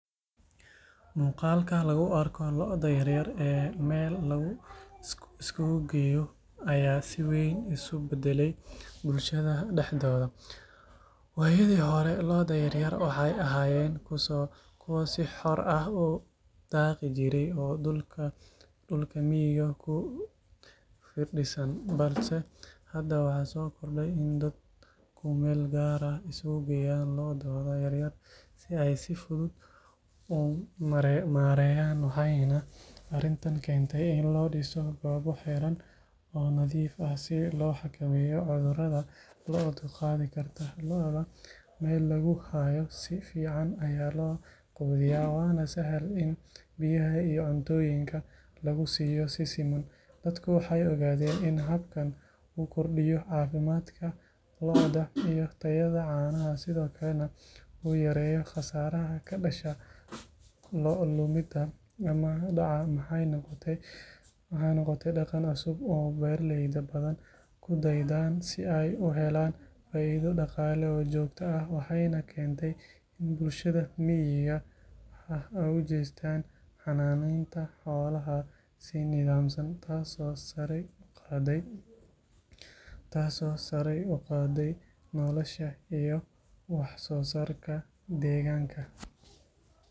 Muuqaalka lagu arko lo’da yar yar ee meel la isugu geeyo ayaa si weyn isu beddelay bulshada dhexdeeda waayadii hore lo’da yar yar waxay ahaayeen kuwo si xor ah u daaqi jiray oo dhulka miyiga ku firdhisan balse hadda waxaa soo kordhay in dadku meel gaar ah isugu geeyaan lo’dooda yar yar si ay si fudud u maareeyaan waxayna arrintan keentay in loo dhiso goobo xiran oo nadiif ah si loo xakameeyo cudurrada lo’du qaadi karto lo’da meel lagu hayo si fiican ayaa loo quudiyaa waana sahal in biyaha iyo cuntooyinka lagu siiyo si siman dadku waxay ogaadeen in habkan uu kordhiyo caafimaadka lo’da iyo tayada caanaha sidoo kalena uu yareeyo khasaaraha ka dhasha lo’ lumidda ama dhaca waxay noqotay dhaqan cusub oo beeraley badan ku daydaan si ay u helaan faa’iido dhaqaale oo joogto ah waxayna keentay in bulshada miyiga ah ay u jeestaan xanaaneynta xoolaha si nidaamsan taasoo sare u qaaday nolosha iyo wax soo saarka deegaanka.